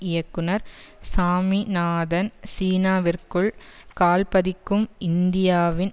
இயக்குனர் சாமிநாதன் சீனாவிற்குள் கால் பதிக்கும் இந்தியாவின்